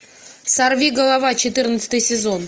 сорвиголова четырнадцатый сезон